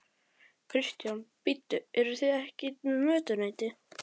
Kristján: Bíddu, eruð þið ekki með mötuneyti?